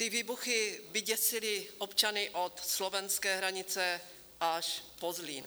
Ty výbuchy vyděsily občany od slovenské hranice až po Zlín.